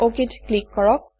অক ত ক্লিক কৰক